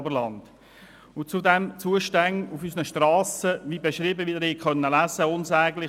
Sie konnten zudem lesen, wie der Zustand unserer Strassen ist.